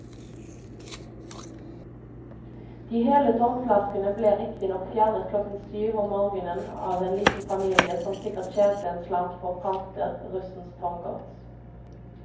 De hele tomflaskene ble riktignok fjernet klokken syv om morgenen av en liten familie som sikkert tjente en slant på å pante russens tomgods.